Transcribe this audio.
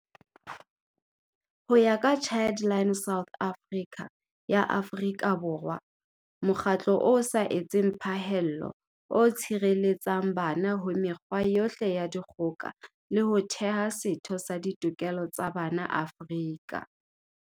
Ho ya ka Childline South Africa ya Afrika Borwa, mokgatlo o sa etseng pha hello o tshireletsang bana ho mekgwa yohle ya dikgo ka le ho theha setho sa ditokelo tsa bana Afrika